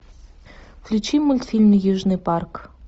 включи мультфильм южный парк